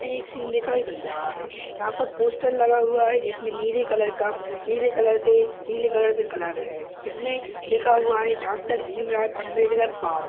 एक सीन दिखाई दे रहा है। यहाँं पर पोस्टर लगा हुआ है जिसमें नीले कलर का नीले कलर से नीले कलर से कलर है इसमें लिखा हुआ है डॉक्टर भीमराव अंबेडकर पार्क --